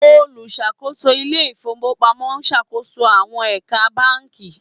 oluṣakoso Ilé ìfowópamọ́ n ṣàkóso àwọn ẹ̀ka bánkì